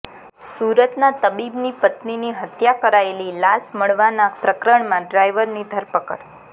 સુરતના તબીબની પત્નીની હત્યા કરાયેલી લાશ મળવાના પ્રકરણમાં ડ્રાઈવરની ધરપકડ